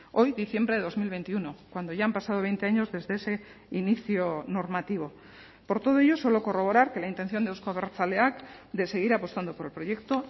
hoy diciembre de dos mil veintiuno cuando ya han pasado veinte años desde ese inicio normativo por todo ello solo corroborar que la intención de euzko abertzaleak de seguir apostando por el proyecto